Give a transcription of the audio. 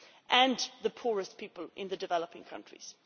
and the poorest people in the developing countries.